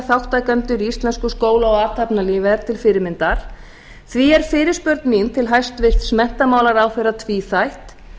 þátttakendur í íslenskum skóla og athafnalífi er til fyrirmyndar því er fyrirspurn mín til hæstvirts menntamálaráðherra tvíþætt